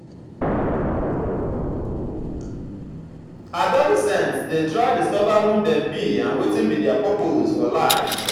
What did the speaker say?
adolescents de try discover who dem be and wetin be their purpose for life